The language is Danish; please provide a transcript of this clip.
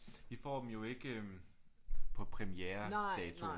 I får dem jo ikke på premieredato